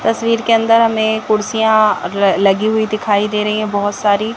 तस्वीर के अंदर हमें कुर्सियां ल लगी हुई दिखाई दे रही है बहोत सारी।